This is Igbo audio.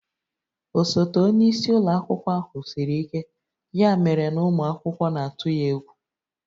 Osote onye isi ụlọ akwụkwọ siri ike, ya mere na ụmụ akwụkwọ na-atụ ya egwu